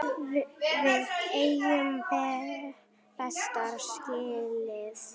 Við eigum betra skilið.